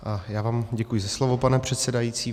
Já vám děkuji za slovo, pane předsedající.